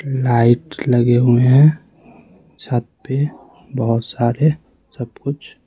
light लगे हुए हैं छत पे बहुत सारे सब कुछ --